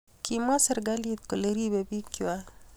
kimwa serikalit kole ribei biikwak